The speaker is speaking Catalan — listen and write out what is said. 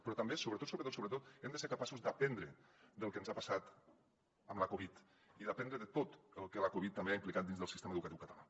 però també sobretot sobretot hem de ser capaços d’aprendre del que ens ha passat amb la covid i d’aprendre de tot el que la covid també ha implicat dins del sistema educatiu català